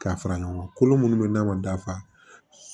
K'a fara ɲɔgɔn kan kolo minnu bɛ n'a ma dafa